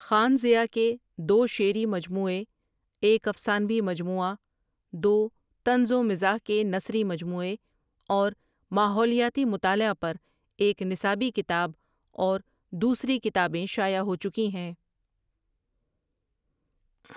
خان ضیاء کے دو شعری مجموعے ایک افسانوی مجموعہ دو طنزومزاح کےنثری مجموعے اور ماحولیاتی مطالعہ پر ایک نصابی کتاب اور دوسری کتابیں شائع ہوچکی ہیں ۔